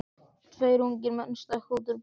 Tveir ungir menn stökkva út úr bílnum.